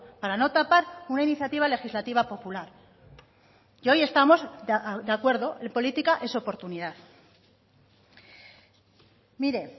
para no tapar una iniciativa legislativa popular y hoy estamos de acuerdo política es oportunidad mire